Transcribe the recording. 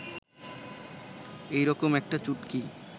এই রকম একটা চুটকি